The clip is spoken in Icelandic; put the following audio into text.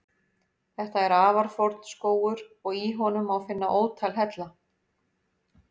Þetta er afar forn skógur og í honum má finna ótal hella.